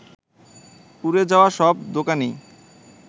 পুড়ে যাওয়া সব দোকানই